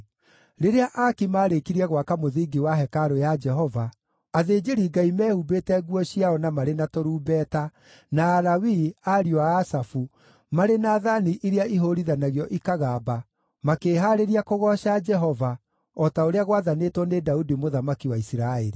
Rĩrĩa aaki maarĩkirie gwaka mũthingi wa Hekarũ ya Jehova, athĩnjĩri-Ngai mehumbĩte nguo ciao na marĩ na tũrumbeta, na Alawii (ariũ a Asafu) marĩ na thaani iria ihũũrithanagio ikagamba, makĩĩhaarĩria kũgooca Jehova, o ta ũrĩa gwathanĩtwo nĩ Daudi mũthamaki wa Isiraeli.